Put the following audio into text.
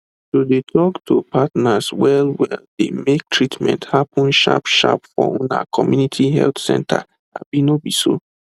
to de talk to partners well well de make treatment happen sharp sharp for una community health centers abi no be so